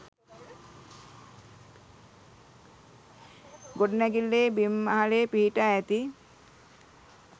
ගොඩනැඟිල්ලේ බිම් මහලේ පිහිටා ඇති